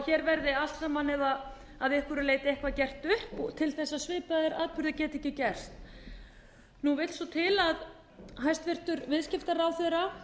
að hér verði allt saman að einhverju leyti gert upp og til þess að svipaðir atburðir geti ekki gerst nú vill svo til að hæstvirtur viðskiptaráðherra